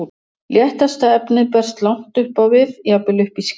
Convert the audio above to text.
Léttasta efnið berst langt upp á við, jafnvel upp í skýið.